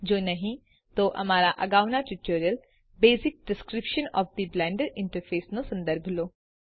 જો નહિં તો અમારા અગાઉના tutorial basic description of the Blender interface નો સંદર્ભ લો